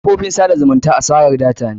Kafofin tsada zumunta asara data ne.